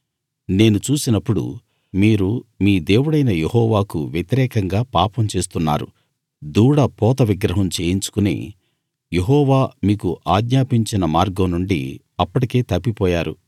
నేను చూసినప్పుడు మీరు మీ దేవుడైన యెహోవాకు వ్యతిరేకంగా పాపం చేస్తున్నారు దూడ పోత విగ్రహం చేయించుకుని యెహోవా మీకు ఆజ్ఞాపించిన మార్గం నుండి అప్పటికే తప్పిపోయారు